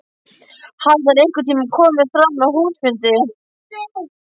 Hafði það einhvern tíma komið fram á húsfundi?